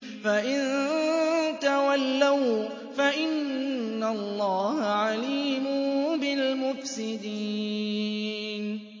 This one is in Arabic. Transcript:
فَإِن تَوَلَّوْا فَإِنَّ اللَّهَ عَلِيمٌ بِالْمُفْسِدِينَ